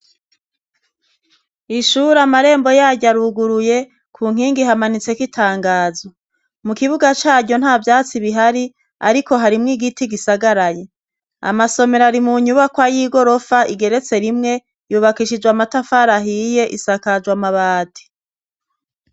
Ishura amarembo yaryu aruguruye ku nkingi hamanitseko itangazwa mu kibuga caryo nta vyatsi bihari, ariko harimwo igiti gisagaraye amasomero ari mu nyubako ay'i gorofa igeretse rimwe yubakishijwe amatafari ahiye isakajwa amabati.